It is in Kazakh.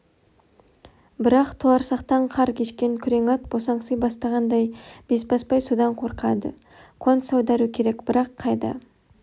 бірақ толарсақтан қар кешкен күрең ат босаңси бастағандай бесбасбай содан қорқады қоныс аудару керек бірақ қайда